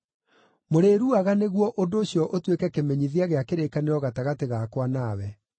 Mũrĩruaga nĩguo ũndũ ũcio ũtuĩke kĩmenyithia gĩa kĩrĩkanĩro gatagatĩ gakwa nawe.